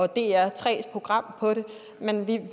dr3s program men vi